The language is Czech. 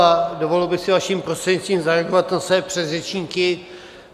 A dovolil bych si vaším prostřednictvím zareagovat na své předřečníky.